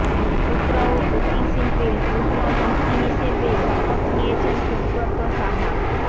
ক্ষুদ্র ও কুটির শিল্পে পূর্ণমন্ত্রী হিসেবে শপথ নিয়েছেন সুব্রত সাহা